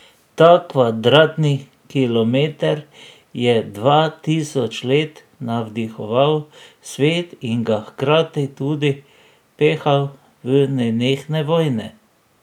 Ta kvadratni kilometer je dva tisoč let navdihoval svet in ga hkrati tudi pehal v nenehne vojne.